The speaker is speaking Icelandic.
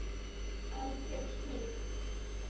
Algjör snilld.